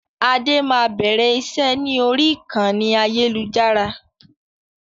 Adé máa bẹ̀rẹ̀ iṣẹ́ ni orí ìkànnì ayélujára